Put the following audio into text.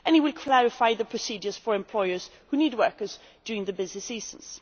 and it will clarify the procedures for employers who need workers during their busy seasons.